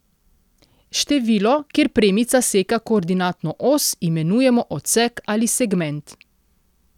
Število, kjer premica seka koordinatno os, imenujemo odsek ali segment.